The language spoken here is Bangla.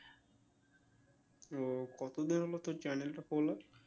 ও কত দিনের মত channel টা খোলা?